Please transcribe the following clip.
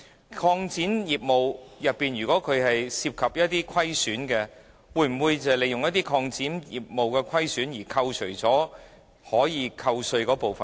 如擴展業務的活動涉及虧損，又會否利用這虧損扣除可寬減稅款的款額呢？